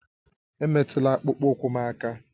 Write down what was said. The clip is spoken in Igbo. Emetụla akpụkpọ ụkwụ m aka!